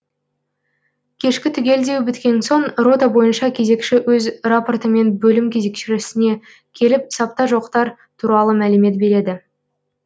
кешкі түгелдеу біткен соң рота бойынша кезекші өз рапортымен бөлім кезекшісіне келіп сапта жоқтар туралы мәлімет береді